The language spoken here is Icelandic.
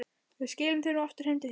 Við skilum þér nú aftur heim til þín.